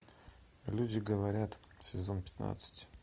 люди говорят сезон пятнадцать